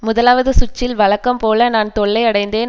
முதலாவது சுற்றில் வழக்கம்போல நான் தொல்லை அடைந்தேன்